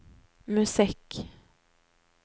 musikk